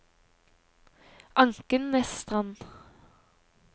Ankenesstrand